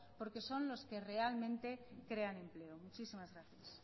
porque son los que realmente crean empleo muchísimas gracias